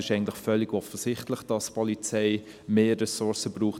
Es ist eigentlich völlig offensichtlich, dass die Polizei mehr Ressourcen braucht.